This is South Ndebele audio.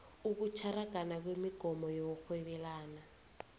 ukutlaragana kwemogomo yokurhwebelana